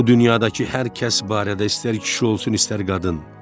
Bu dünyadakı hər kəs barədə istər kişi olsun, istər qadın.